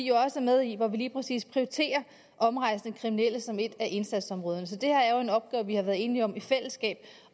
jo også er med i hvor vi lige præcis prioriterer omrejsende kriminelle som et af indsatsområderne så det her er jo en opgave vi har været enige om i fællesskab